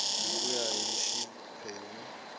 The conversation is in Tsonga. hi ku ya hi xiphemu